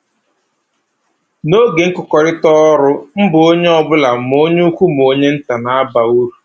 N'oge nkụkọrịta ọrụ, mbọ onye ọbụla ma onye ukwu ma onye nta na-aba uru